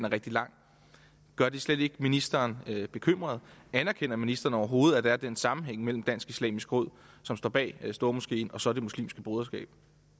rigtig lang gør det slet ikke ministeren bekymret anerkender ministeren overhovedet at der er den sammenhæng mellem dansk islamisk råd som står bag stormoskeen og så det muslimske broderskab